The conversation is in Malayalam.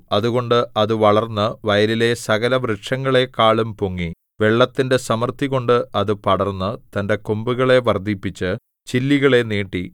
അതുകൊണ്ട് അത് വളർന്ന് വയലിലെ സകലവൃക്ഷങ്ങളെക്കാളും പൊങ്ങി വെള്ളത്തിന്റെ സമൃദ്ധികൊണ്ട് അത് പടർന്ന് തന്റെ കൊമ്പുകളെ വർദ്ധിപ്പിച്ച് ചില്ലികളെ നീട്ടി